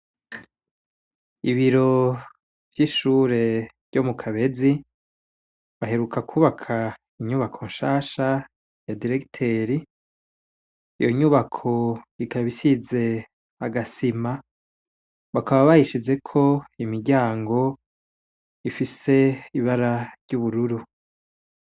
Ibiro vy'ishure ryo mukabezi baheruka kwubaka inyubako nshasha ya diregiteri, iyo nyubako ikaba isize agasima bakaba bayishizeko imiryango ifise ibara ry'ubururu.